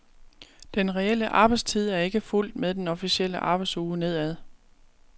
Den reelle arbejdstid er ikke fulgt med den officielle arbejdsuge nedad.